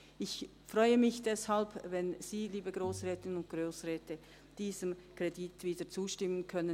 Ich freue mich deshalb, wenn Sie, liebe Grossrätinnen und Grossräte, diesem Kredit, diesem Geschäft wieder zustimmen können.